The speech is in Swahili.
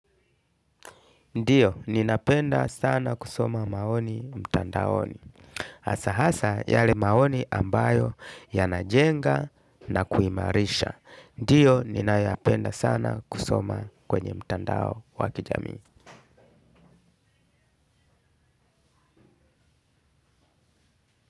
Ndio, ninapenda sana kusoma maoni mtandaoni, hasa hasa, yale maoni ambayo yanajenga na kuimarisha ndio, ninayoyapenda sana kusoma kwenye mtandao wa kijamii.